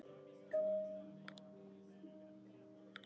Nú skulum við breyta þessu.